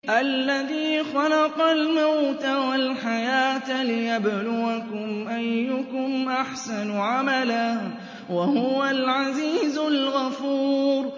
الَّذِي خَلَقَ الْمَوْتَ وَالْحَيَاةَ لِيَبْلُوَكُمْ أَيُّكُمْ أَحْسَنُ عَمَلًا ۚ وَهُوَ الْعَزِيزُ الْغَفُورُ